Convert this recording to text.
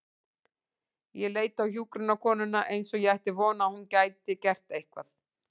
Ég leit á hjúkrunarkonuna eins og ég ætti von á að hún gæti gert eitthvað.